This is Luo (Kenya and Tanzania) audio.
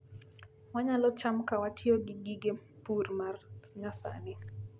Wanyalo cham ka watiyo gi gige pur ma nyasani